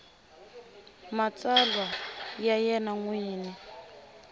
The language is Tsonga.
matsalwa ya yena n wini